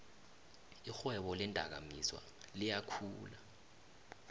irhwebo leendakamizwa liyakhula